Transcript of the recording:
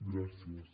gràcies